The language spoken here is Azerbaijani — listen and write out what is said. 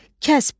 Kəsb.